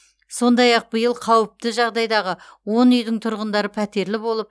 сондай ақ биыл қауіпті жағдайдағы он үйдің тұрғындары пәтерлі болып